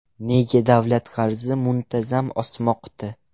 Nega davlat qarzi muntazam o‘smoqda?